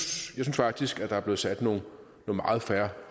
faktisk at der er blevet sat nogle meget fair